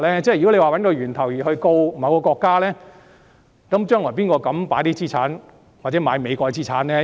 如果要找出病毒源頭而對某國提起訴訟，將來誰敢購買美國資產呢？